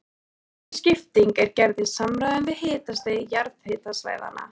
Þessi skipting er gerð í samræmi við hitastig jarðhitasvæðanna.